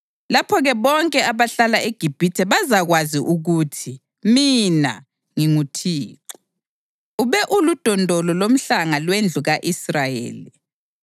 Lapho-ke bonke abahlala eGibhithe bazakwazi ukuthi mina nginguThixo. Ube uludondolo lomhlanga lwendlu ka-Israyeli.